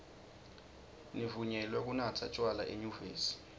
nivunyelwe kunatsa tjwala enyuvesi